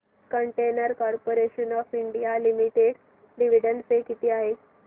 container corporation of India limited dividend pay किती आहे